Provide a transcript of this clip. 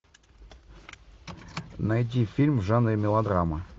найди фильм в жанре мелодрама